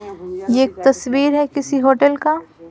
यह एक तस्वीर है किसी होटल का।